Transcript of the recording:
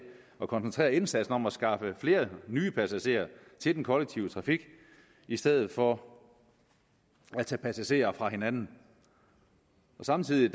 at koncentrere indsatsen om at skaffe flere nye passagerer til den kollektive trafik i stedet for at tage passagerer fra hinanden samtidig